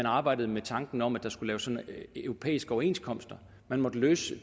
arbejdede med tanken om at der skulle laves sådanne europæiske overenskomster man måtte løse